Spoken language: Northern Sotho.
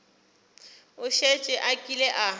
o šetše a kile a